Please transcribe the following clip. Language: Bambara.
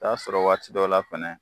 O y'a sɔrɔ waati dɔw la fana